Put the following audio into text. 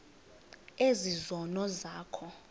ezi zono zakho